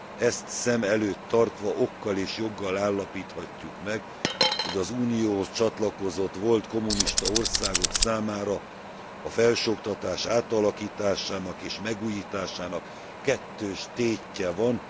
Ezt szem előtt tartva okkal és joggal állapíthatjuk meg, hogy az Unióhoz csatlakozott volt kommunista országok számára a felsőoktatás átalakításának és megújításának kettős tétje van.